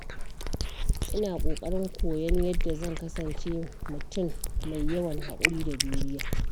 Ina ƙoƙarin koyon yadda zan kasance mutum mai yawan haƙuri da juriya.